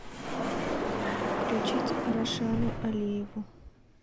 включить рашану алиеву